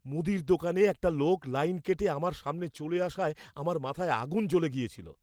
মুদির দোকানে একটা লোক লাইন কেটে আমার সামনে চলে আসায় আমার মাথায় আগুন জ্বলে গিয়েছিল।